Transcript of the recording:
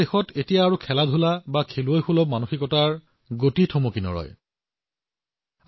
এতিয়া দেশৰ ক্ৰীড়া খেলুৱৈৰ মনোভাৱ এতিয়া বন্ধ হব নোৱাৰে